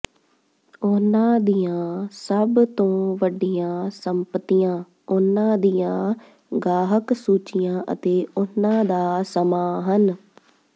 ਉਨ੍ਹਾਂ ਦੀਆਂ ਸਭ ਤੋਂ ਵੱਡੀਆਂ ਸੰਪਤੀਆਂ ਉਨ੍ਹਾਂ ਦੀਆਂ ਗਾਹਕ ਸੂਚੀਆਂ ਅਤੇ ਉਨ੍ਹਾਂ ਦਾ ਸਮਾਂ ਹਨ